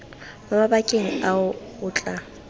mo mabakeng ao o tla